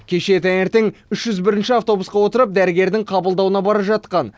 кеше таңертең үш жүз бірінші автобусқа отырып дәрігердің қабылдауына бара жатқан